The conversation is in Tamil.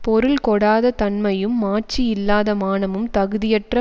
பொருள் கொடாத தன்மையும் மாட்சியில்லாத மானமும் தகுதியற்ற